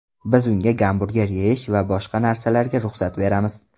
Biz unga gamburger yeyish va boshqa narsalarga ruxsat beramiz.